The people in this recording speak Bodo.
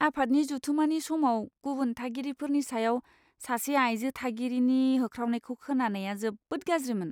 आफादनि जथुमानि समाव गुबुन थागिरिफोरनि सायाव सासे आयजो थागिरिनि होख्रावनायखौ खोनानाया जोबोद गाज्रिमोन।